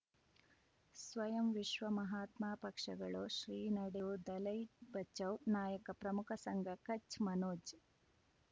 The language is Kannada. ಸ್ವಯಂ ವಿಶ್ವ ಮಹಾತ್ಮ ಪಕ್ಷಗಳು ಶ್ರೀ ನಡೆಯೂ ದಲೈ ಬಚೌ ನಾಯಕ ಪ್ರಮುಖ ಸಂಘ ಕಚ್ ಮನೋಜ್